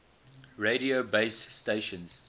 radio base stations